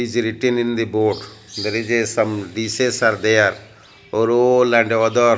is written in the board there is a some dishes are there or all and other--